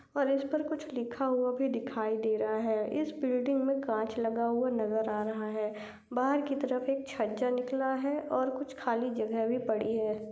और इस पर कुछ लिखा हुआ भी दिखाई दे रहा है इस बिल्डिंग मे काच लगा हुआ नजर आ रहा है बाहर की तरफ एक छज्जा निकला है और कुछ खाली जगह भी पडी है।